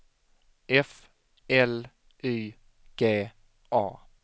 F L Y G A